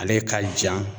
Ale ka ja